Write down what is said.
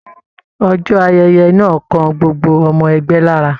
Ọjọ́ ayẹyẹ náà kàn gbogbo ọmọ ẹgbẹ́ lára